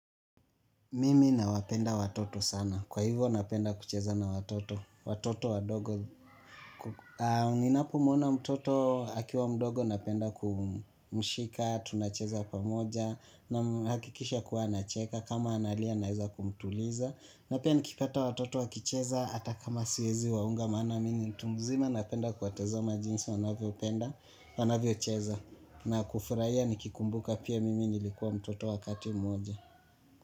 Mimi na wapenda watoto sana. Kwa hivyo napenda kucheza na watoto. Watoto wa dogo. Ninapo muona mtoto akiwa mdogo napenda kumshika, tunacheza pamoja. Hakikisha kuwa anacheka. Kama analia naweza kumtuliza. Na pia nikipata watoto wakicheza. Hata kama siwezi waunga maana mimi mtu mzima napenda kuwatazama jinsi wanavyo penda, wanavyo cheza. Na kufurahia nikikumbuka pia mimi nilikuwa mtoto wakati mmoja.